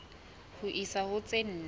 ho isa ho tse nne